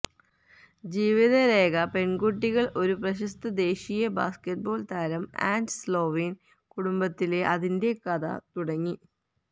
ജീവിതരേഖ പെൺകുട്ടികൾ ഒരു പ്രശസ്ത ദേശീയ ബാസ്കറ്റ്ബോൾ താരം ആൻഡ് സ്ലൊവീൻ കുടുംബത്തിലെ അതിന്റെ കഥ തുടങ്ങി